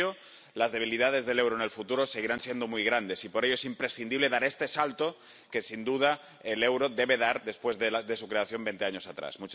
Sin ello, las debilidades del euro en el futuro seguirán siendo muy grandes, y por ello es imprescindible dar este salto que, sin duda, el euro debe dar después de su creación, veinte años atrás.